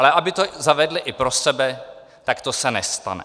Ale aby to zavedli i pro sebe, tak to se nestane.